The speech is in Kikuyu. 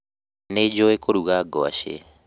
Nĩnjũĩ kũruga ngwacĩ